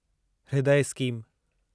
हृदय स्कीम